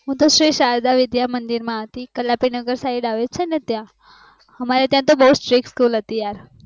હું શ્રી શારદા વિદ્યામંદિર માં હતી કલાપીનગર side આવે છે ને ત્યાં અમારે ત્યાં તો બુજ strict હતી યાર